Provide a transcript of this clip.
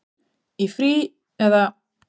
Í frí. eða?